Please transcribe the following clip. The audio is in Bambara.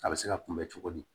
A bɛ se ka kunbɛ cogo di